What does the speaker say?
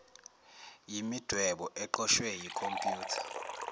imidwebo eqoshwe yikhompyutha